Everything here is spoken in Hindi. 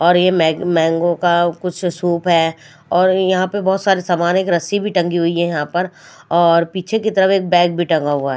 और ये मै मैंगो का कुछ सूप है और यहां पे बहोत सारे सामान एक रस्सी भी टंगी हुई है यहां पर और पीछे की तरफ एक बैग भी टंगा हुआ--